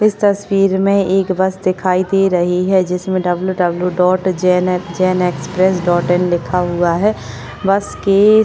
इस तस्वीर में एक बस दिखाई दे रही है जिसने W W dot Jain A Jain express dot in लिखा हुआ है बस की --